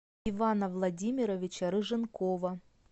ивана владимировича рыженкова